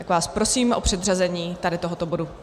Tak vás prosím o předřazení tady tohoto bodu.